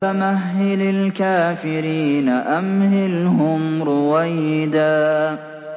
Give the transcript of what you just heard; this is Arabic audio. فَمَهِّلِ الْكَافِرِينَ أَمْهِلْهُمْ رُوَيْدًا